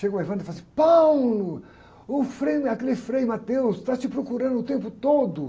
Chegou o e falou assim, o Frei, aquele Frei está te procurando o tempo todo.